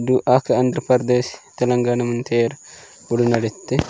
दू आक आंध्रप्रदेश तेलंगाना मंथेर उड़ीन्थे भिते।